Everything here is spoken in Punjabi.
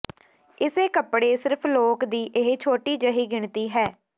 ਇਸੇ ਕੱਪੜੇ ਸਿਰਫ ਲੋਕ ਦੀ ਇੱਕ ਛੋਟੀ ਜਿਹੀ ਗਿਣਤੀ ਹੈ